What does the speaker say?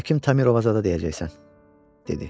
Hakim Tamirovaza da deyəcəksən, dedi.